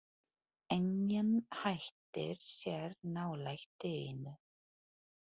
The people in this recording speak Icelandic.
Enginn hættir sér nálægt dýinu.